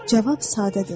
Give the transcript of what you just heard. Cavab sadədir.